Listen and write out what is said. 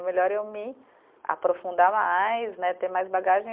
É melhor eu me aprofundar mais né, ter mais bagagem.